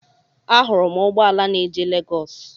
Ahụrụ m ụgbọala na-eje Legọs.